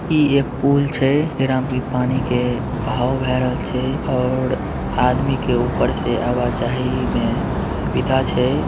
ई एक पुल छै एकरा में पानी के बहाव बहेरल भाय रहल छै और आदमी के ऊपर आव जाई में ही सुविधा छै--